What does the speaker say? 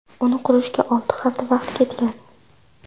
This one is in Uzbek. Uni qurishga olti hafta vaqt ketgan.